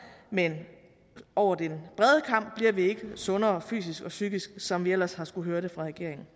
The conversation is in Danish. men over den brede kam bliver vi ikke sundere fysisk og psykisk som vi ellers har skullet høre det fra regeringen